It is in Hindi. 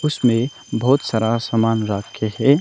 इसमें बहोत सारा सामान रखे हैं।